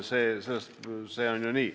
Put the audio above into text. See on nii.